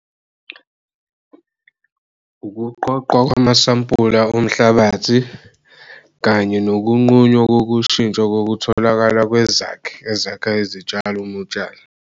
Ukuqoqwa kwamasampula omhlabathi kanye nokunqunywa kokushintsha kokutholakala kwezakhi ezakha izitshalo umutshala.